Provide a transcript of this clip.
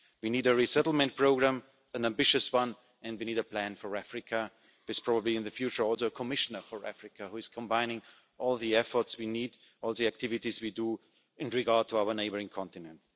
We need a resettlement programme, an ambitious one, and we need a plan for Africa, with probably in the future also a Commissioner for Africa who combines all the efforts we need, all the activities we do in regard to our neighbouring continent.